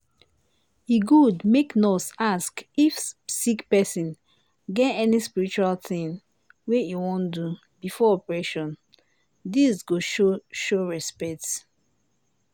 e good make nurse ask if sick pesin get any spiritual tin wey e wan do before operation dis go show show respect.